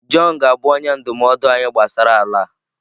Jọn ga-abụ onye ndụmọdụ anyị gbasara ala a.